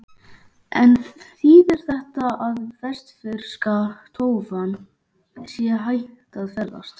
En þýðir þetta að vestfirska tófan sé hætt að ferðast?